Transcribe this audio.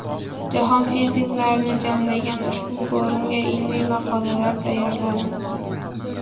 Jahon fiziklarini jamlagan ushbu forumga ilmiy maqolalar tayyorladim.